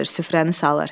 süfrəni salır.